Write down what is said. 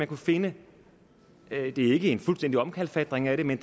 kunne finde ikke en fuldstændig omkalfatring af det men